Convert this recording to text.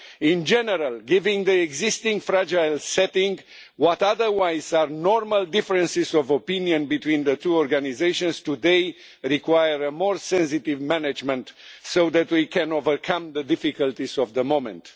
In general, given the existing fragile setting, what otherwise are normal differences of opinion between the two organisations today require more sensitive management so that we can overcome the difficulties of the moment.